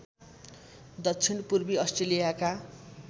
दक्षिण पूर्वी अस्ट्रेलियाका